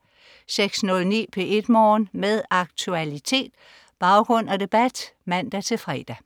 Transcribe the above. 06.09 P1 Morgen. Med aktualitet, baggrund og debat (man-fre) 07.00